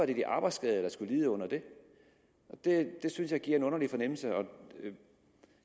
det de arbejdsskadede der skulle lide under det det synes jeg giver en underlig fornemmelse og